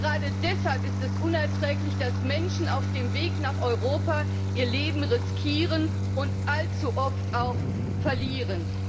Gerade deshalb ist es unerträglich, dass Menschen auf dem Weg nach Europa ihr Leben riskieren und allzu oft auch verlieren.